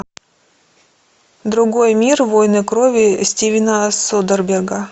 другой мир войны крови стивена содерберга